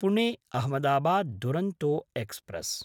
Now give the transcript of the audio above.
पुणे–अहमदाबाद् Duronto express